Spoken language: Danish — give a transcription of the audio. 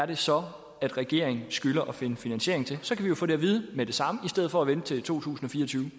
det så er regeringen skylder at finde finansiering til så kan vi få det at vide med det samme i stedet for at vente til totusinde